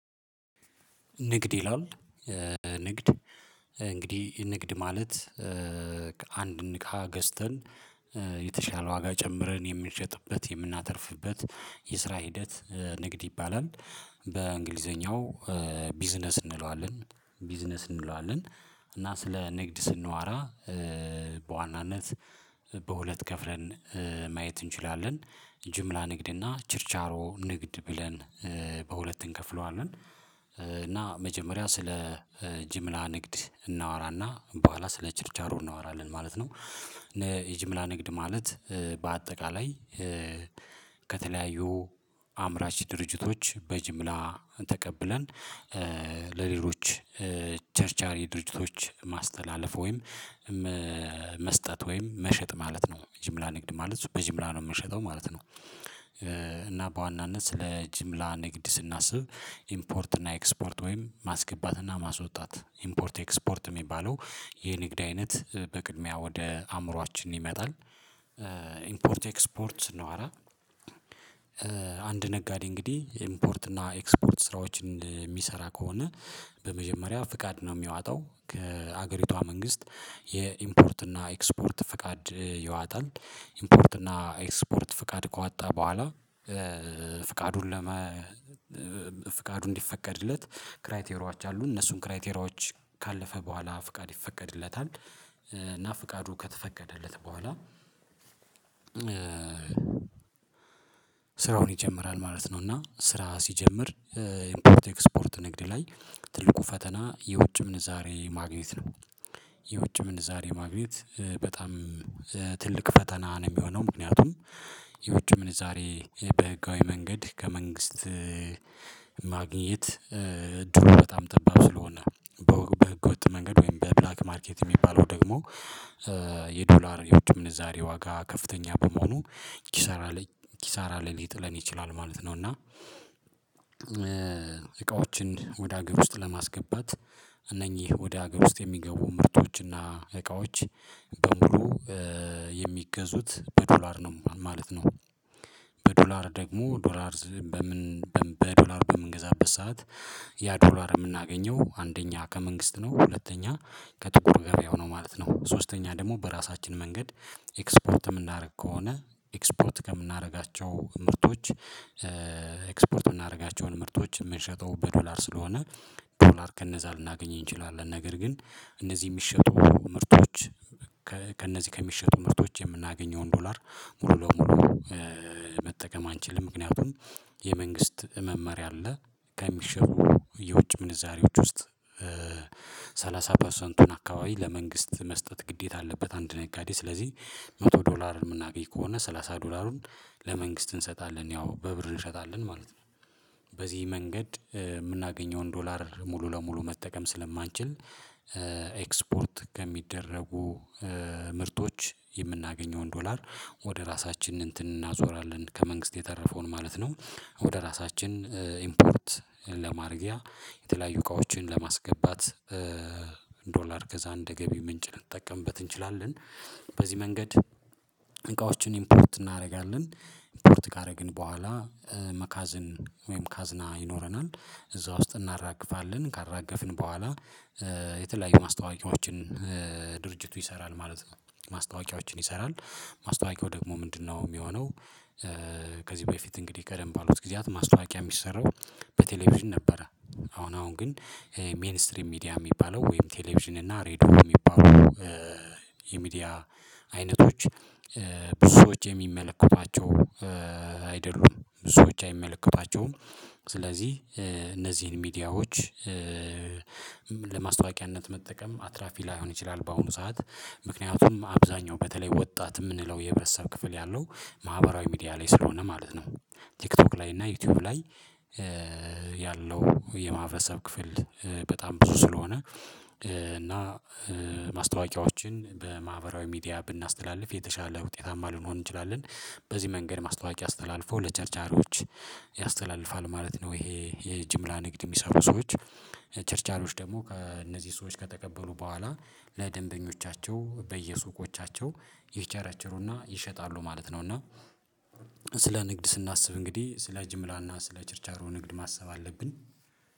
ንግድ ይላል ንግድ እንግዲህ ንግድ ማለት አንድ እቃ ገዝተን የተሻለ ዋጋ ጨምረን የምንሸጥበት የምናተርፍበት የስራ ሂደት ንግድ ይባላል በእንግሊዘኛው ቢዝነስ እንለዋለን ቢዝነስ እንለዋለን። እና ስለ ንግድ ስናወራ በዋናነት በሁለት ከፍለን ማየት እንችላለን ጅምላ ንግድ እና ችርቻሮ ንግድ ብለን በሁለት እንከፍለዋለን። እና መጀመሪያ ስለ ጅምላ ንግድ እናወራና በኋላ ስለ ችርቻሮ እናወራለን ማለት ነው። የጅምላ ንግድ ማለት በአጠቃላይ ከተለያዩ አምራች ድርጅቶች በጅምላ ተቀብለን ለሌሎች ቸርቻሪ ድርጅቶች ማስተላለፍ ወይም መስጠት ወይም መሸጥ ማለት ነው ጅምላ ንግድ ማለት እሱ በጅምላ ነው የምሸጠው ማለት ነው። እና በዋናነት ስለ ጅምላ ንግድ ስናስብ ኢምፖርት እና ኤክስፖርት ወይም ማስገባት እና ማስወጣት ኢምፖርት ኤክስፖርት የሚባለው የንግድ አይነት በቅድሚያ ወደ አእምሮአችን ይመጣል። ኢምፖርት ኤክስፖርት ስናወራ አንድ ነጋዴ እንግዲህ ኢምፖርት እና ኤክስፖርት ስራዎችን የሚሰራ ከሆነ በመጀመሪያ ፈቃድ ነው ሚዋጠው ከሀገሪቷ መንግስት የኢምፖርት እና ኤክስፖርት ፈቃድ ይወጣል። ኢምፖርት እና ኤክስፖርት ፍቃድ ከወጣ በኋላ ፍቃዱን ለመ ፍቃዱ እንዲፈቀድለት ክራይቴሪያዎች አሉ እነሱን ክራይቴሪያዎች ካለፈ በኋላ ፍቃድ ይፈቀድለታል። እና ፍቃዱ ከተፈቀደለት በኋላ ስራውን ይጀምራል ማለት ነው። እና ስራ ሲጀምር ኢምፖርት ኤክስፖርት ንግድ ላይ ትልቁ ፈተና የውጭ ምንዛሬ ማግኘት ነው። የውጭ ምን ዛሬ ማግኘት በጣም ትልቅ ፈተና ነው የሚሆነው ምክንያቱም የውጭ ምንዛሬ በህጋዊ መንገድ ከመንግስት ማግኘት እድሉ በጣም ጥበብ ስለሆነ በህገወጥ መንገድ ወይም በብላክ ማርኬት የሚባለው ደግሞ የዶላር የውድ ምንዛሬ ዋጋ ከፍተኛ በመሆኑ ኪሳራ ላይ ኪሳራ ላይ ሊጥለን ይችላል ማለት ነው። እና እቃዎችን ወደ አገር ውስጥ ለማስገባት እነኚህ ወደ ሀገር ውስጥ የሚገቡ ምርቶችና እቃዎች በሙሉ የሚገዙት በዶላር ነው ማለት ነው። በዶላር ደግሞ ዶላር በምን በዶላር በምንገዛበት ሰዓት ያ ዶላር የምናገኘው አንደኛ ከመንግስት ነው ሁለተኛ ከጥቁር ገበያው ነው ማለት ነው። ሶስተኛ ደግሞ በራሳችን መንገድ ኤክስፖርት የምናደርግ ከሆነ ኤክስፖርት ከምናደርጋቸው ምርቶች ኤክስፖርት የምናደርጋቸውን ምርቶች የምንሸጠው በዶላር ስለሆነ ዶላር ከነዛ ልናገኘኝ እንችላለን ነገር ግን እነዚህ የሚሸጡ ምርቶች ከእነዚህ ከሚሸጡ ምርቶች የምናገኘውን ዶላር ሙሉ ለሙሉ መጠቀም አንችልም ምክንያቱም የመንግስት መመሪያ አለ ከሚሸጡ የውጭ ምንዛሬዎች ውስጥ ሰላሳ ፐርሰንቱን አካባቢ ለመንግስት መስጠት ግዴታ አለበት አንድ ነጋዴ ስለዚህ መቶ ዶላር የምናገኝ ከሆነ ሰላሳ ዶላሩን ለመንግስት እንሰጣለን ያው በብር እንሸጣለን ማለት ነው። በዚህ መንገድ የምናገኘውን ዶላር ሙሉ ለሙሉ መጠቀም ስለማንችል ኤክስፖርት ከሚደረጉ ምርቶች የምናገኘውን ዶላር ወደ ራሳችን እንትን እናዞራለን ከመንግስት የተረፈውን ማለት ነው። ወደ ራሳችን ኢምፖርት ለማድረጊያ የተለያዩ እቃዎችን ለማስገባት ዶላር ገዛ እንደ ገቢ ምንጭ ልንጠቀምበት እንችላለን። በዚህ መንገድ እቃዎችን ኢምፖርት እናደርጋለን ኢምፖርት ካደረግን ግን በኋላ መጋዘን ወይም ካዝና ይኖረናል። እዛ ውስጥ እናራግፋለን ካራገፍን በኋላ የተለያዩ ማስታወቂያዎችን ድርጅቱ ይሰራል ማለት ነው። ማስታወቂያዎችን ይሰራል ማስታወቂያው ደግሞ ምንድነው የሚሆነው? ከዚህ በፊት እንግዲህ ቀደም ባሉት ጊዜያት ማስታወቂያ የሚሰራው በቴሌቪዥን ነበረ። አሁን አሁን ግን ሜይን ስትሪም ሚዲያ የሚባለው ወይም ቴሌቪዥን እና ሬድዮ የሚባለው የሚዲያ አይነቶች ብዙዎች የሚመለከቷቸው አይደሉም ብዙዎች አይመለከቷቸውም ስለዚህ እነዚህን ሚዲያዎች ለማስታወቂያነት መጠቀም አትራፊ ላይሆን ይችላል። በአሁኑ ሰዓት ምክንያቱም አብዛኛው በተለይ ወጣት የምንለው የህብረተሰብ ክፍል ያለው ማህበራዊ ሚዲያ ላይ ስለሆነ ማለት ነው። ቲክቶክ ላይ እና ዩቲዩብ ላይ ያለው የማህበሰብ ክፍል በጣም ብዙ ስለሆነ እና ማስታወቂያዎችን በማህበራዊ ሚዲያ ብናስተላልፍ የተሻለ ውጤታማ ሊሆን ይችላል። በዚህ መንገድ ማስታወቂያ አስተላልፎ ለቸርቻሮች ያስተላልፋል ማለት ነው ይሄ የጅምላ ንግድ የሚሰሩ ሰዎች ቸርቻሮች ደግሞ ከእነዚህ ሰዎች ከተቀበሉ በኋላ ለደንበኞቻቸው በየሱቆቻቸው ይቸራቸሩና ይሸጣሉ ማለት ነው። እና ስለ ንግድ ስናስብ እንግዲህ ስለ ጅምላና ስለ ቸርቻሮ ንግድ ማሰብ አለብን።